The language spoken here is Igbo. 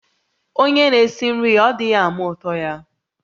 Onye n'esi nri-ya, ọ̀ dighi-ama utọ-ya?